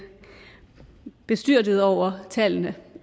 bestyrtet over tallene